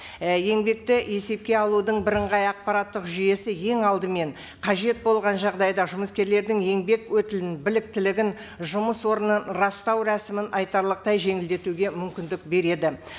і еңбекті есепке алудың бірыңғай ақпараттық жүйесі ең алдымен қажет болған жағдайда жұмыскерлердің еңбек өтілін біліктілігін жұмыс орнын растау рәсімін айтарлықай жеңілдетуге мүмкіндік береді